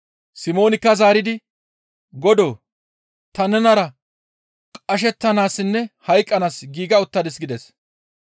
Simoonikka zaaridi, «Godoo! Ta nenara qashettanaassinne hayqqanaas giiga uttadis» gides.